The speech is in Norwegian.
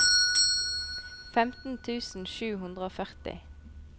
femten tusen sju hundre og førti